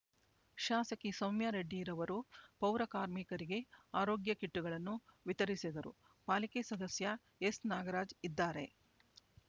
ಶಾಸಕಿ ಸೌಮ್ಯ ರೆಡ್ಡಿ ರವರು ಪೌರ ಕಾರ್ಮಿಕರಿಗೆ ಆರೋಗ್ಯ ಕಿಟ್‌ಗಳನ್ನು ವಿತರಿಸಿದರು ಪಾಲಿಕೆ ಸದಸ್ಯ ಎನ್ನಾಗರಾಜ್ ಇದ್ದಾರೆ